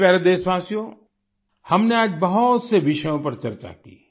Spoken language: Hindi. मेरे प्यारे देशवासियो हमने आज बहुत से विषयों पर चर्चा की